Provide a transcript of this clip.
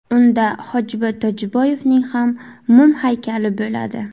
Unda Hojiboy Tojiboyevning ham mum haykali bo‘ladi .